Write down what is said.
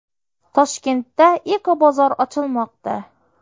Toshkentda Ecobozor ochilmoqda.